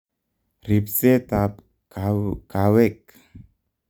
Ripseet ab kaweek